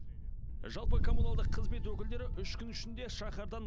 жалпы коммуналдық қызмет өкілдері үш күн ішінде шаһардан